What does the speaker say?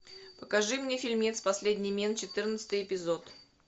покажи мне фильмец последний мент четырнадцатый эпизод